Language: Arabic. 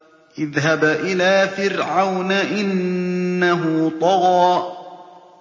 اذْهَبْ إِلَىٰ فِرْعَوْنَ إِنَّهُ طَغَىٰ